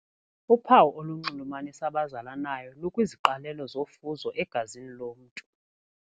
Uphawu olunxulumanisa abazalanayo lukwiziqalelo zofuzo egazini lomntu.